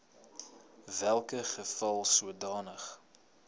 welke geval sodanige